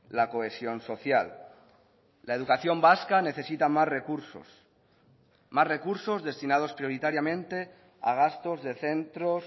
la cohesión social la educación vasca necesita más recursos más recursos destinados prioritariamente a gastos de centros